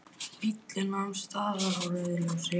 Bíllinn nam staðar á rauðu ljósi.